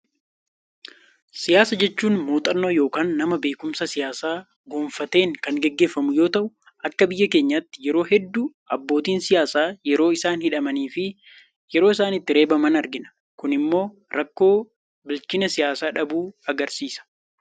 Siyaasa jechuun muuxannoo yookaan nama beekumsa siyaasaa gonfateen kan gaggeeffamu yoo ta'u, akka biyya keenyaatti yeroo hedduu abbootiin siyaasaa yeroo isaan hidhamanii fi yeroo isaan itti reebaman argina. Kun immoo rakkoo bilchina siyaasaa dhabuu argisiisa.